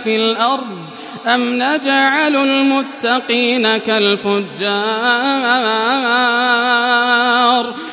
فِي الْأَرْضِ أَمْ نَجْعَلُ الْمُتَّقِينَ كَالْفُجَّارِ